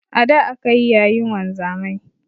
A da akayi yayin wanzamai